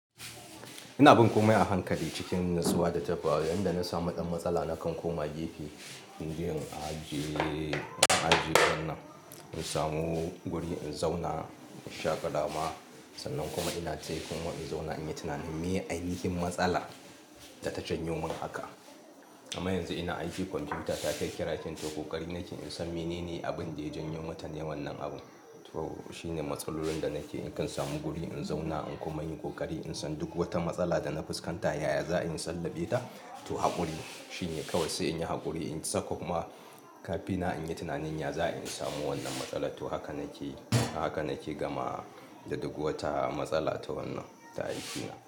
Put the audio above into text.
Ina bin komai a hankali cikin natsuwa da tafawa, yanda na samu ɗan matsala nakan koma gefe in je in ajiye, in ajiye wannan, in samu guri in zauna in sha ƙarama. Sannan kuma ina tai kuma in zauna in yi tunanin me aikin matsala da ta janyo min haka. Amma yanzu ina aikin kwamfuta ta cracking ta ko ƙari nake insan menene abin da ya janyo mata wannan abu. To shine matsalolin da nake in kan samu guri in zauna, in koma in yin ƙoƙari in san duk wata matsala da na fuskanta, yaya za'a in sallabe ta to haƙuri shine kawai sai in yi haƙuri, in saka kuma kafina in yi tunanin yaya za'a in samu wannan matsala. To haka nake, haka nake gama da duk wata matsala ta wannan ta aikina.